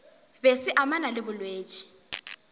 be se amana le bolwetši